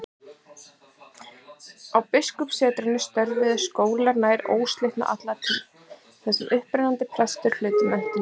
Á biskupssetrunum störfuðu skólar nær óslitið alla tíð, þar sem upprennandi prestar hlutu menntun sína.